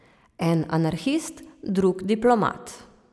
En anarhist, drug diplomat.